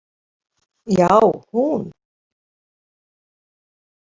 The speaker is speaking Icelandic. Já, hún!